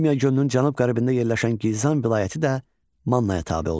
Urmiya gölünün cənub-qərbində yerləşən Gilzan vilayəti də Mannaya tabe olmuşdu.